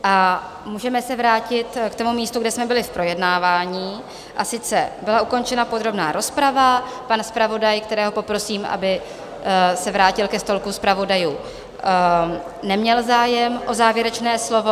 A můžeme se vrátit k tomu místu, kde jsme byli v projednávání, a sice byla ukončena podrobná rozprava, pan zpravodaj, kterého poprosím, aby se vrátil ke stolku zpravodajů, neměl zájem o závěrečné slovo.